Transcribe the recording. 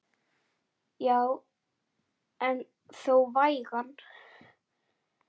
Já en þó vægan.